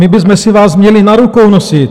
My bychom si vás měli na rukou nosit.